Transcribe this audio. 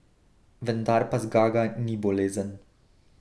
Vendar pa zgaga ni bolezen.